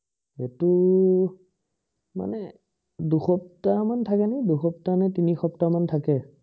এইটো মানে দুসপ্তাহ মান থাকে নে দু সপ্তাহ নে তিনি সপ্তাহ মান থাকে